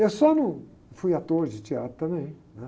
Eu só não... Fui ator de teatro também.